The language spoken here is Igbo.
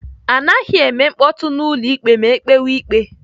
Anaghị eme mkpọtụ n'ụlọ ikpe ma ekpewe ikpe.